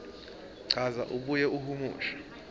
chaza abuye ahumushe